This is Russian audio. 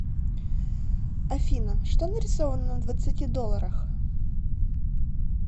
афина что нарисовано на двадцати долларах